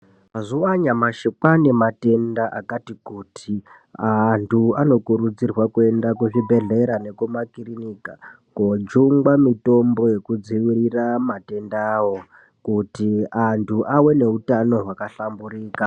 Mazuwa anyamashi kwaane matenda akati kuti antu anokurudzirwe kuenda kuzvibhedhlera nekuma kirinika kojungwa mitombo yekudzivirira matendawo kuti antu ave neutano hwakahlamburika.